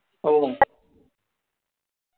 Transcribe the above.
हो